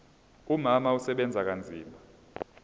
umama usebenza kanzima